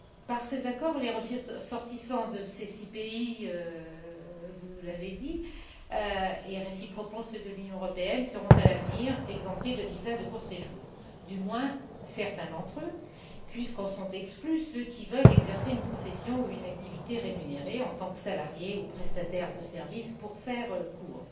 Par ces accords, les ressortissants de ces six pays, vous nous l'avez dit, et réciproquement ceux de l'Union européenne, seront à l'avenir exemptés de visa de court séjour, du moins certains d'entre eux, puisqu'en sont exclus ceux qui veulent exercer une profession ou une activité rémunérée, en tant que salarié ou prestataire de services, pour faire court.